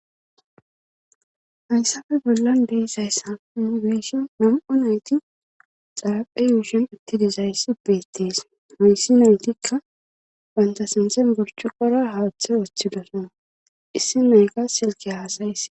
Hayssafe bollan deesayssa mugeeshi nam'u nayti xaaphe yuushin ittidizayssi beettees hoyssi haytikka banta sinten gorchu qora haaththe woththidosona issi loyka silke haasayiss.